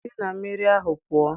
Si na mmiri ahụ pụọ!